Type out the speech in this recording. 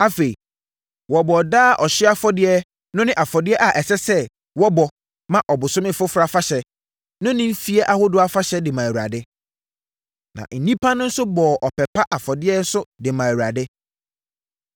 Afei, wɔbɔɔ daa ɔhyeɛ afɔdeɛ no ne afɔdeɛ a ɛsɛ sɛ wɔbɔ ma Ɔbosome Foforɔ Afahyɛ no ne mfeɛ ahodoɔ afahyɛ de maa Awurade. Na nnipa no bɔɔ ɔpɛ pa mu afɔdeɛ nso de maa Awurade.